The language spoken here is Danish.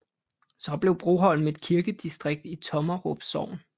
Så blev Broholm et kirkedistrikt i Tommerup Sogn